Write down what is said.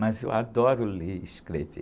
Mas eu adoro ler e escrever.